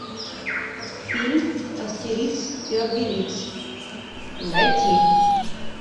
фильм астерикс и обеликс найти